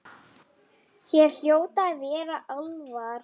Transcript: Hér hljóta að vera álfar.